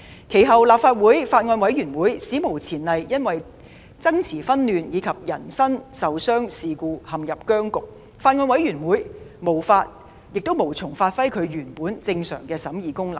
其後，立法會法案委員會史無前例因爭持紛亂及人身受傷事故陷入僵局，法案委員會無從發揮其原有的正常審議功能。